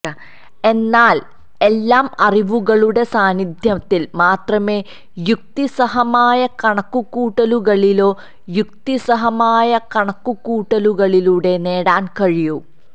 എന്നാൽ എല്ലാം അറിവുകളുടെ സാന്നിധ്യത്തിൽ മാത്രമേ യുക്തിസഹമായ കണക്കുകൂട്ടലുകളിലോ യുക്തിസഹമായ കണക്കുകൂട്ടലുകളിലൂടെ നേടാൻ കഴിയൂ